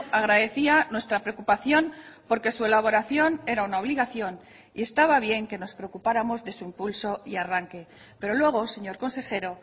agradecía nuestra preocupación por que su elaboración era una obligación y estaba bien que nos preocupáramos de su impulso y arranque pero luego señor consejero